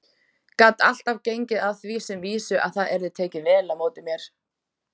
Gat alltaf gengið að því sem vísu að það yrði tekið vel á móti mér.